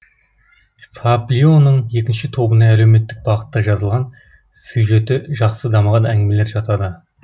фаблионың екінші тобына әлеуметтік бағытта жазылған сюжеті жақсы дамыған әңгімелер жатады